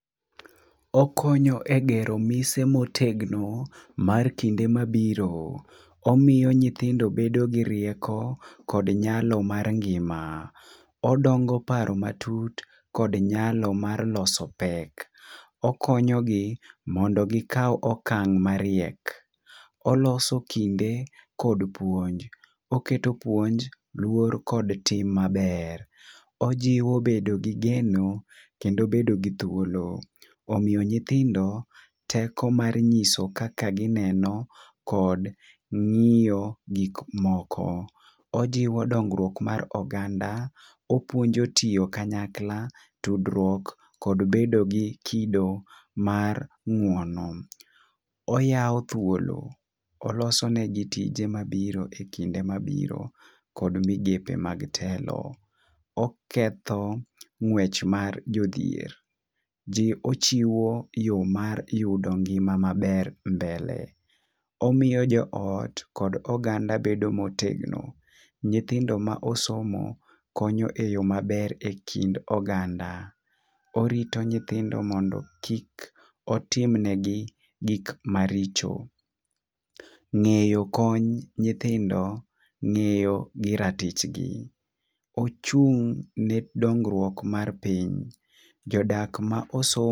Okonyo e gero mise motegno mar kinde mabiro, omiyo nyithindo bedo gi rieko kod nyalo mar ngima, odongo paro matut kod nyalo mar loso pek, okonyo gi mondo gikaw okang' mariek ,oloso kinde kod puonj oketo puonj, luor kod tim maber, ojiwo bedo gi geno kendo bedo gi thuolo. Omiyo nyithindo teko mar nyiso kaka gineno kod ng'iyo gik moko. Ojiwo dongruok mar oganda, opuonjo tiyo kanyakla, tudruok kod bedo gi kido mar ng'uono. Oyawo thuolo oloso negi tije mabiro e kinde mabiro kod migepe mag telo . Oketho ngwech mar jodhier ji ochiwo yoo mar yudo ngima maber mbele ,omiyo joot jod oganda bedo motegno. Nyithindo ma osomo konyo e yoo maber e kind oganda. Orito nyithindo mondo kik otim ne gi gik maricho . Ng'eyo kony nyithindo ng'eyo gi ratich gi ochung' ne dongruok mar piny jodak ma osomo